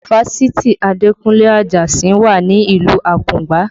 Fásitì Adekunle Ajasin wà ní ìlú Akungba